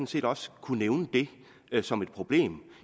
set også kunne nævne det som et problem